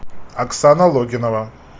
оксана логинова